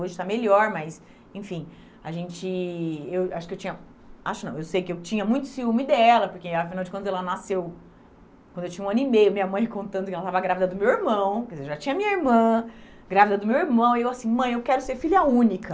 Hoje está melhor, mas, enfim, a gente... Eu acho que eu tinha... Acho não, eu sei que eu tinha muito ciúme dela, porque, afinal de contas ela nasceu, quando eu tinha um ano e meio, minha mãe contando que ela estava grávida do meu irmão, quer dizer eu já tinha minha irmã, grávida do meu irmão, e eu assim, mãe, eu quero ser filha única.